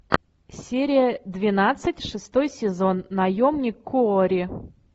серия двенадцать шестой сезон наемник куорри